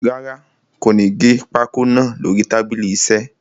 Rárá, kò ní gé pákó naa lórí tábìlì iṣẹ́.